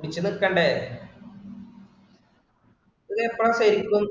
പിടിച്ചു നിൽക്കേണ്ടേ ഇതിപ്പോഴാ ശരിക്കും